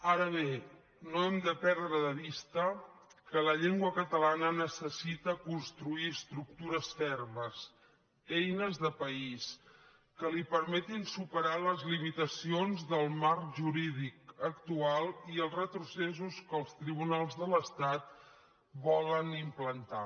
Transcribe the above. ara bé no hem de perdre de vista que la llengua catalana necessita construir estructures fermes eines de país que li permetin superar les limitacions del marc jurídic actual i els retrocessos que els tribunals de l’estat volen implantar